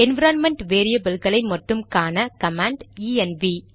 environment வேரியபில்களை மட்டும் காண கமாண்ட் ஈஎன்வி